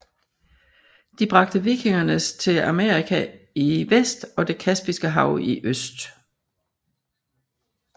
De bragte vikingernes til Amerika i vest og Det Kaspiske Hav i øst